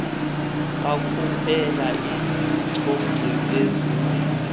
bakhuphela icogsi izigidi